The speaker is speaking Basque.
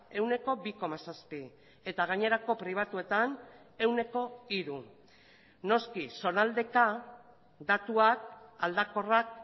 ehuneko bi koma zazpi eta gainerako pribatuetan ehuneko hiru noski zonaldeka datuak aldakorrak